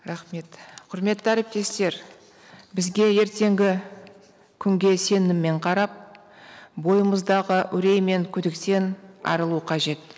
рахмет құрметті әріптестер бізге ертеңгі күнге сеніммен қарап бойымыздағы үрей мен күдіктен арылу қажет